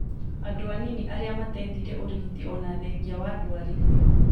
andũ anini arĩa matethire ũrigiti ona thengia wa ndwari